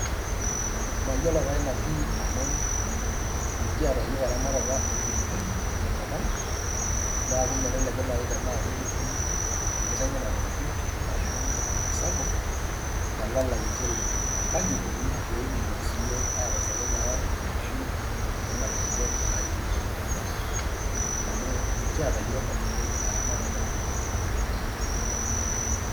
Maiyelo taa nenia pii amu mikieta yook eramatata onkitenjon te nkopang. Neeku melelaeku nai taanaku kitum enkiteng nenajuut arashu sapuk talalainchere. Kaji eikoni pee nkitomoki sii yook entasaru naa enkisui ana inkitenjon naiting'to tenkop? Amu mikieta yoo katukul eramatata onkitenjon.